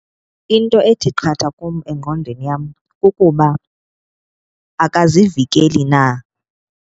Into ethi qatha kum engqondweni yam kukuba akazivikeli na.